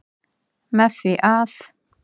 Með því að.